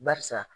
Barisa